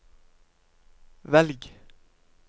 velg